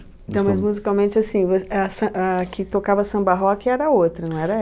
Então, mas musicalmente, assim, você, essa, ah que tocava samba rock era outra, não era